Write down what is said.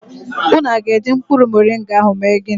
Unu aga eji mkpuru moringa ahụ eme ginị